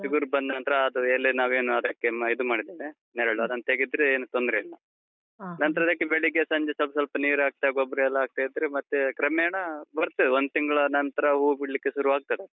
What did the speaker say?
ಚಿಗುರು ಬಂದ್ನಂತ್ರ ಅದು ಎಲೆ ನಾವೇನು ಅದಕ್ಕೆ ಇದು ಮಾಡಿದ್ದೇವೆ ನೆರಳು ಅದನ್ನು ತೆಗಿದ್ರೆ ಏನೂ ತೊಂದ್ರೆ ಇಲ್ಲ. ನಂತ್ರ ಅದಕ್ಕೆ ಬೆಳಿಗ್ಗೆ, ಸಂಜೆ ಸ್ವಲ್ಪ್ ಸ್ವಲ್ಪ ನೀರು ಹಾಕ್ತಾ, ಗೊಬ್ಬರ ಎಲ್ಲ ಹಾಕ್ತಾ ಇದ್ರೆ ಮತ್ತೆ ಕ್ರಮೇಣ ಬರ್ತದೆ, ಒಂದು ತಿಂಗ್ಳು ನಂತ್ರ ಹೂ ಬಿಡ್ಲಿಕ್ಕೆ ಶುರುವಾಗ್ತದೆ ಅದು.